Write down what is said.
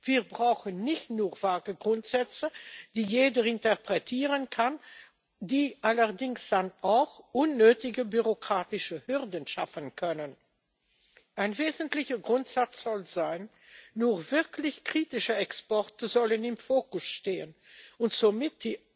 Wir brauchen nicht nur vage Grundsätze, die jeder interpretieren kann, die allerdings dann auch unnötige bürokratische Hürden schaffen können. Ein wesentlicher Grundsatz soll sein, dass nur wirklich kritische Exporte im Fokus stehen und somit